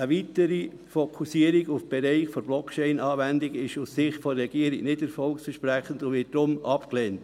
Eine weitere Fokussierung auf Bereiche der Blockchain-Anwendung ist aus Sicht der Regierung nicht erfolgsversprechend und wird daher abgelehnt.